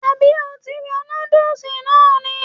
Àbí o ti ra nudulú náà ni??